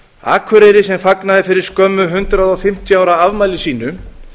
akureyri sem fagnaði fyrir skömmu hundrað fimmtíu ára afmæli sínu